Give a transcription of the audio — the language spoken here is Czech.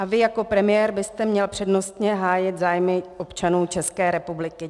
A vy jako premiér byste měl přednostně hájit zájmy občanů České republiky.